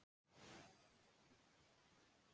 Nei, ég get ekki sagt þér það